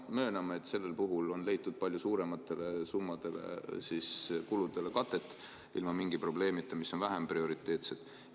Mööname, et sellel puhul on leitud ilma mingi probleemita kate palju suurematele kuludele, mis on vähem prioriteetsed.